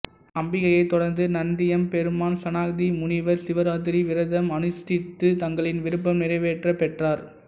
அம்பிகையைத் தொடர்ந்து நந்தியம் பெருமான் சனகாதி முனிவர் சிவராத்திரி விரதம் அனுஷ்டித்து தங்கள் விருப்பம் நிறைவேறப்பெற்றார்